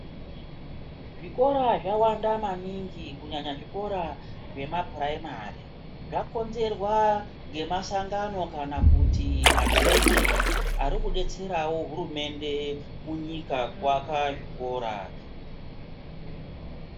Zvikora zvawanda maningi kunyanya zvikora zvemapuraimari zvakonzerwa ngemasangano kana kuti machechi arikudetserawo hurumende yemunyika kuaka zvikora.